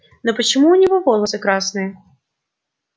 но почему у него волосы красные